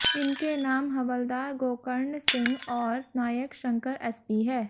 इनके नाम हवलदार गोकर्ण सिंह और नायक शंकर एसपी है